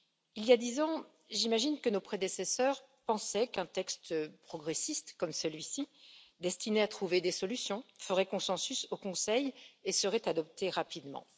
Il y a dix ans, j'imagine que nos prédécesseurs pensaient qu'un texte progressiste comme celui ci, destiné à trouver des solutions, ferait consensus au Conseil et serait adopté rapidement.